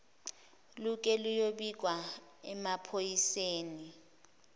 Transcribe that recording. luke luyobikwa emaphoyiseni